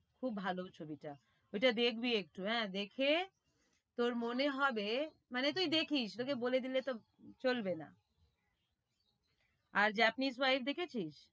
খুব ভালো ছবিটা ওইটা দেখবি একটু আহ দেখে তোর মনে হবে মানে তুই দেখিস তোকে বলে দিতে তো চলবে না। আর দেখেছিস?